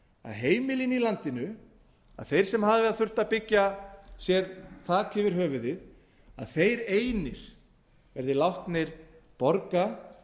heimilin í landinu þeir sem hafa þurft að byggja sér þak yfir höfuðið þeir einir verði látnir borga